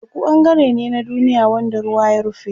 Teku ɓangare ne na duniya wanda ruwa ya rufe.